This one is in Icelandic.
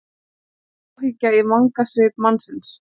Áhyggja í vangasvip mannsins.